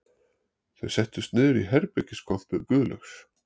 Þau settust niður í herbergiskompu Guðlaugs